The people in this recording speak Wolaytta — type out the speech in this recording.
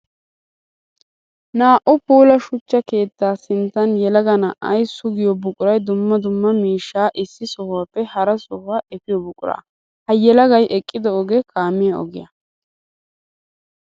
Naa'u puula shuchcha keetta sinttan yelaga na'ay sugiyo buquray dumma dumma miishsha issi sohuwappe hara sohuwa efiyo buqura. Ha yelagay eqido ogee kaamiya ogiyaa.